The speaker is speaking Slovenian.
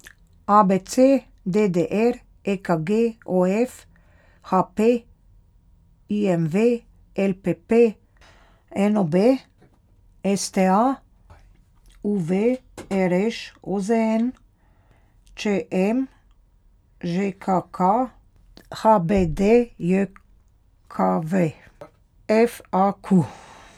A B C; D D R; E K G; O F; H P; I M V; L P P; N O B; S T A; U V; R Š; O Z N; Č M; Ž K K; H B D J K V; F A Q.